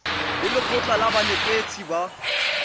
le lekgotlha la banetetshi ba